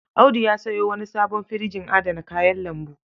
Audu ya sayo wani sabon firjin adana kayan lambu.